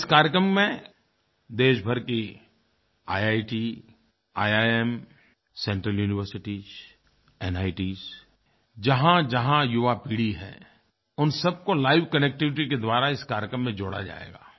और इस कार्यक्रम में देशभर की IITs IIMs central universities NITs जहाँजहाँ युवा पीढ़ी है उन सबको लाइवकनेक्टिविटी के द्वारा इस कार्यक्रम में जोड़ा जाएगा